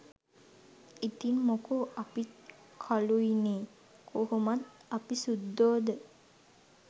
ඉතින් මොකෝ අපිත් කලුයිනේ කොහොමත් අපි සුද්දෝද?